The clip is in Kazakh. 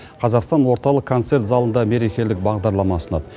қазақстан орталық концерт залында мерекелік бағдарлама ұсынады